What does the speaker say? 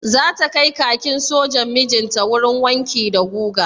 Zata kai kakin sojan mijinta wurin wanki da guga?